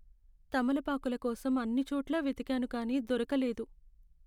తమలపాకుల కోసం అన్ని చోట్లా వెతికాను కానీ దొరకలేదు.